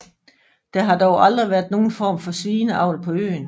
Der har dog aldrig været nogen form for svineavl på øen